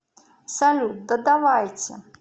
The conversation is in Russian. салют да давайте